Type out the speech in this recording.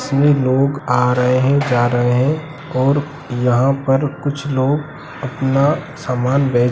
इसमें लोग आ रहे हैं जा रहे हैं और यहाँ पर कुछ लोग अपना सामान बे --